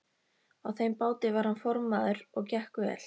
Á þeim báti var hann formaður og gekk vel.